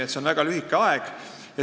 See aeg on väga lühike.